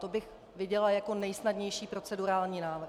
To bych viděla jako nejsnadnější procedurální návrh.